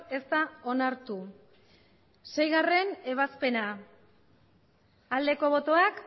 ez da onartu seigarrena ebazpena aldeko botoak